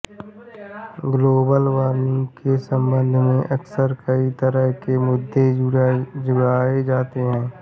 global warming के संबंध में अक्सर कई तरह के मुद्दे उठाए जाते हैं